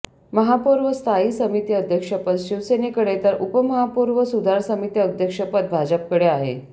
महापौर व स्थायी समिती अध्यक्षपद शिवसेनेकडे तर उपमहापौर व सुधार समिती अध्यक्षपद भाजपकडे आहे